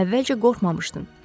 Əvvəlcə qorxmamışdım.